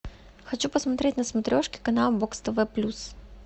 хочу посмотреть на смотрешке канал бокс тв плюс